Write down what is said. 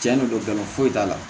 Tiɲɛ don nkalon foyi t'a la